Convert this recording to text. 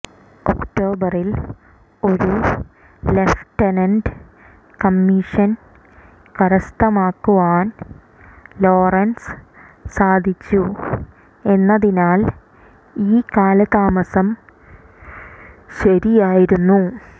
ഒക്ടോബറിൽ ഒരു lieutenant commission കരസ്ഥമാക്കുവാൻ ലോറൻസ് സാധിച്ചു എന്നതിനാൽ ഈ കാലതാമസം ശരിയായിരുന്നു